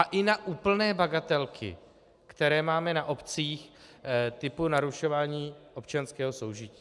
A i na úplné bagatelky, které máme na obcích, typu narušování občanského soužití.